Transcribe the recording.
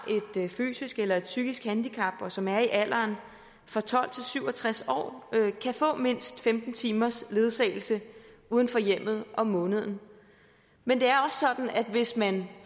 et fysisk eller et psykisk handicap og som er i alderen tolv til syv og tres år kan få mindst femten timers ledsagelse uden for hjemmet om måneden men det er også sådan at hvis man